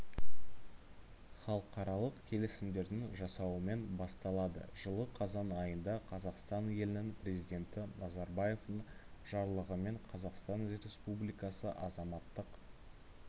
халықаралық келісімдердің жасауымен басталады жылы қазан айында қазақстан елінің президенті назарбаевтың жарлығымен қазақстан республикасы азаматтық